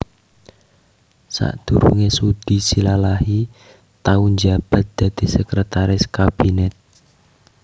Sadurungé Sudi Silalahi tau njabat dadi Sekretaris Kabinet